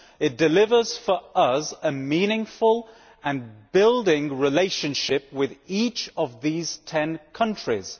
It delivers for us a meaningful and constructive relationship with each of these ten countries.